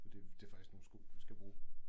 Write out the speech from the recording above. Fordi det faktisk nogen sko vi skal bruge